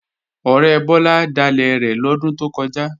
Ọ̀rẹ́ Bọ́lá dalẹ̀ rẹ̀ lọ́dún tó kọjá